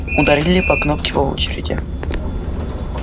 ударили по кнопке по очереди